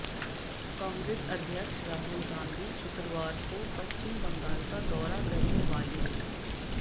कांग्रेस अध्यक्ष राहुल गांधी शुक्रवार को पश्चिम बंगाल का दौरा करने वाले हैं